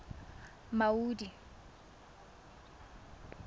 maudi